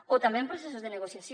o també en processos de negociació